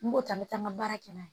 N b'o ta n bɛ taa n ka baara kɛ n'a ye